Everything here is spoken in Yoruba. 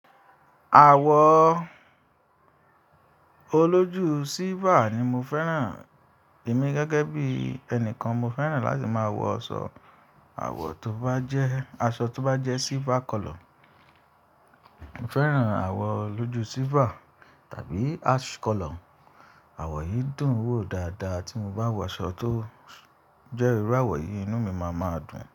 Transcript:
Àwọ̀ olójú silver ni mo fẹ́ràn. Èmi gẹ́gẹ́ bí ẹni kan, mo fẹ́ràn láti máa wọ aṣọ àsọ̀ tó bá jẹ́ silver color. Mo fẹ́ràn àwọ̀ olójú silver tàbí ash color. Àwọ̀ yìí dùn ún wò dáadáa tí mo bá wọ aṣọ tó jẹ́ irú àwọ̀ yìí, inú mi máa dùn.